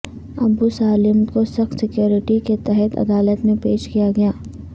ابو سالم کو سخت سکیورٹی کے تحت عدالت میں پیش کیا گیا